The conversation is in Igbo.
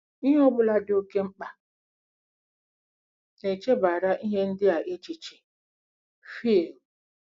“Ihe ọ bụla dị oké mkpa.... na-echebara ihe ndị a echiche.”—FỊL.